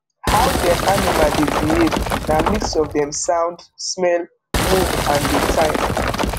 how dem animal dey behave na mix of dem sound smell move and dey time